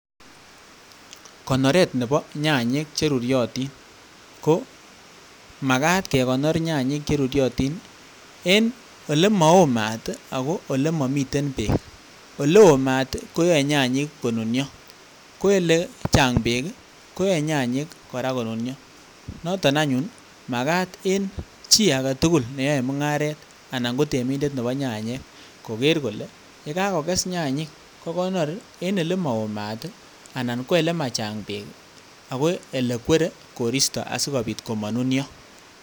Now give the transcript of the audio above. Konoret neboo nyanyiik cheruryotin komakat kekonor nyanyiik cheruryotin en elemaoo maat ako olemomiten beek, oleoo maat koyoe nyanyiik konunyo, ko elechang beek koyoe nyanyiik kora konunio, noton anyun makaat en chii aketukul neyoee mung'aret anan kotemindet neboo nyanyiik kokeer kolee yekakokes nyanyiik kokonor en elemowoo maat anan ko elemachang beek ako elekweree koristo asikomabit konunio.